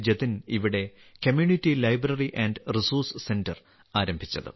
ജതിൻ ഇവിടെ community library and resource centre ആരംഭിച്ചത്